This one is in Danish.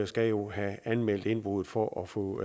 skal jo have anmeldt indbrud for at få